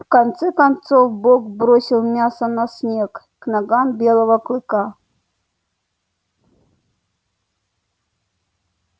в конце концов бог бросил мясо на снег к ногам белого клыка